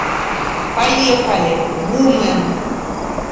поехали вумен